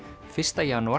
fyrsta janúar